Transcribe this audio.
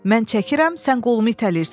Mən çəkirəm, sən qolumu itələyirsən.